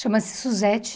Chama-se Suzete.